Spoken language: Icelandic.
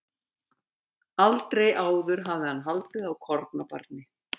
Aldrei áður hafði hann haldið á kornabarni.